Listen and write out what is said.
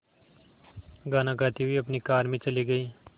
गाना गाते हुए अपनी कार में चले गए